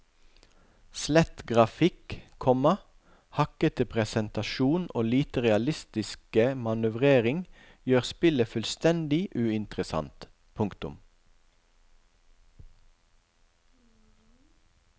Slett grafikk, komma hakkete presentasjon og lite realistiske manøvrering gjør spillet fullstendig uinteressant. punktum